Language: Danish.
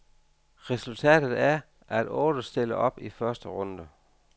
Resultatet er, at otte stiller op i første runde.